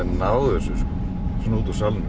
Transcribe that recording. náð þessu svona út úr salnum